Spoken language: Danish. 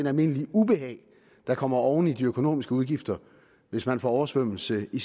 almindelige ubehag der kommer oven i de økonomiske udgifter hvis folk får oversvømmelse i